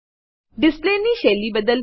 ડિસ્પ્લેની શૈલી બદલવી